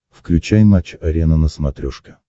включай матч арена на смотрешке